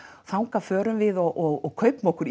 þangað förum við og kaupum okkur